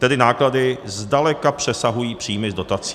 Tedy náklady zdaleka přesahují příjmy z dotací.